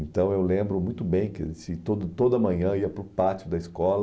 Então eu lembro muito bem que esse toda toda manhã eu ia para o pátio da escola,